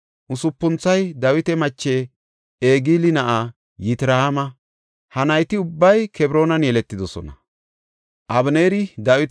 Usupunthoy Dawita mache Egili na7aa Yitra7aama; ha nayti ubbay Kebroonan yeletidosona.